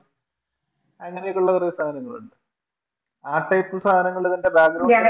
അങ്ങനെയൊക്കെ ഉള്ള ചില സാധനങ്ങൾ ഉണ്ട്. ആ ടൈപ്പ് സാധനങ്ങൾടെ തന്നെ Background